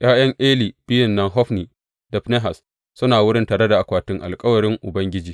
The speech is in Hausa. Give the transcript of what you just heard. ’Ya’yan Eli biyun nan Hofni da Finehas suna wurin tare da akwatin alkawarin Ubangiji.